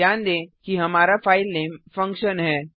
ध्यान दें कि हमारा फाइलनेम फंक्शन है